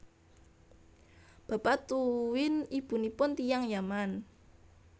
Bapa tuwin ibunipun tiyang Yaman